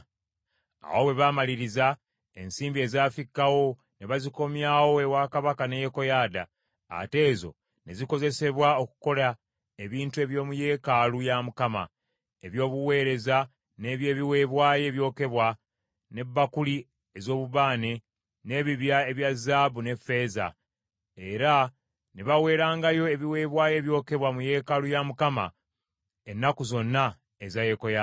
Awo bwe baamaliriza, ensimbi ezafikkawo ne bazikomyawo ewa kabaka ne Yekoyaada, ate ezo ne zikozesebwa okukola ebintu eby’omu yeekaalu ya Mukama , eby’obuweereza n’eby’ebiweebwayo ebyokebwa, ne bbakuli ez’obubaane, n’ebibya ebya zaabu ne ffeeza. Era ne baweerangayo ebiweebwayo ebyokebwa mu yeekaalu ya Mukama ennaku zonna eza Yekoyaada.